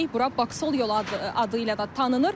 Bura Baksol yolu adı ilə də tanınır.